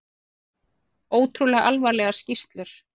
Ótrúlega alvarlegar skýrslur